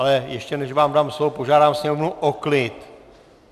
Ale ještě než vám dám slovo, požádám sněmovnu o klid!